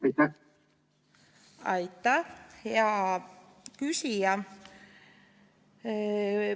Aitäh, hea küsija!